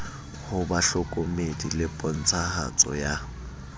ho bahlokomedi le pontshahatso ya